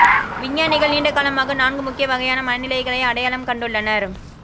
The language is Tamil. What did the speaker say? விஞ்ஞானிகள் நீண்டகாலமாக நான்கு முக்கிய வகையான மனநிலைகளை அடையாளம் கண்டுள்ளனர்